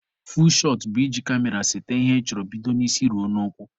Fuul shọt bụ iji kamera sete ihe ị chọrọ bido n'isi ruo n'ụkwụ.